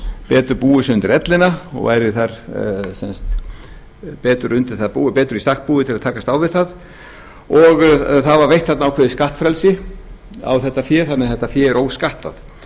betur búið sig undir ellina og væri þar betur í stakk búið til að takast á við hana og það var veitt þarna ákveðið skattfrelsi á þetta fé þannig að þetta fé er óskattað